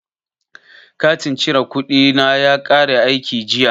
Katin cire kuɗi na ya kare aiki jiya.